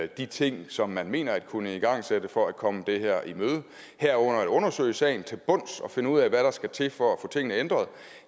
de ting som man mener at kunne igangsætte for at kunne komme det i møde herunder undersøge sagen til bunds og finde ud af hvad der skal til for at få tingene ændret